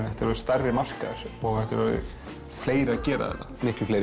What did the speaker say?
þetta er orðinn stærri markaður og fleiri að gera þetta miklu fleiri